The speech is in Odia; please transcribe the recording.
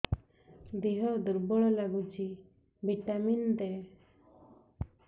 ଦିହ ଦୁର୍ବଳ ଲାଗୁଛି ଭିଟାମିନ ଦେ